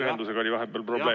Ühendusega oli vahepeal probleeme.